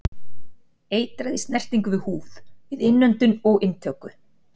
Eitrað í snertingu við húð, við innöndun og inntöku.